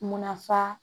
Munna fa